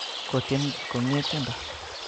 Kotien komye tiendo